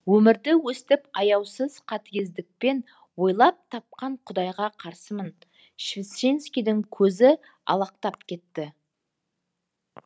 өмірді өстіп аяусыз қатыгездікпен ойлап тапқан құдайға қарсымын свещенскидің көзі алақтап кетті